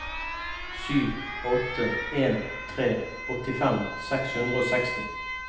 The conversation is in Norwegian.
sju åtte en tre åttifem seks hundre og seksti